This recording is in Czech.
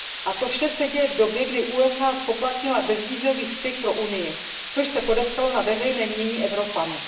A to vše se děje v době, kdy USA zpoplatnily bezvízový styk pro Unii, což se podepsalo na veřejném mínění Evropanů.